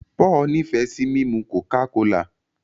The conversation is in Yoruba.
Paul ní fe sí mímu coca-cola.